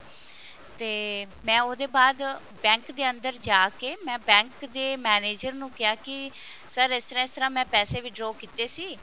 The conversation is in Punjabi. ਤੇ ਮੈਂ ਉਹਦੇ ਬਾਅਦ bank ਦੇ ਅੰਦਰ ਜਾਕੇ ਮੈਂ bank ਦੇ manager ਨੂੰ ਕਿਹਾ ਕਿ sir ਇਸ ਤਰ੍ਹਾਂ ਤਰ੍ਹਾਂ ਮੈਂ ਪੈਸੇ withdraw ਕੀਤੇ ਸੀ